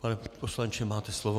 Pane poslanče, máte slovo.